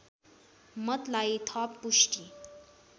मतलाई थप पुष्टि